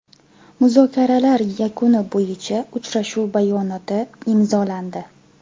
Muzokaralar yakuni bo‘yicha uchrashuv bayonoti imzolandi.